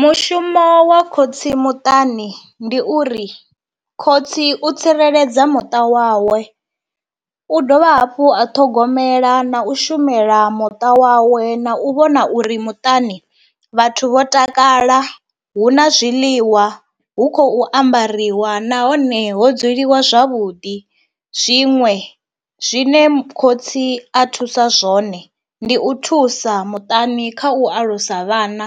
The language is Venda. Mushumo wa khotsi muṱani ndi uri khotsi u tsireledza muṱa wawe, u dovha hafhu a ṱhogomela na u shumela muṱa wawe na u vhona uri muṱani vhathu vho takala, hu na zwiḽiwa, hu khou ambariwa nahone ho dzuliwa zwavhuḓi. Zwiṅwe zwine khotsi a thusa zwone, ndi u thusa muṱani kha u alusa vhana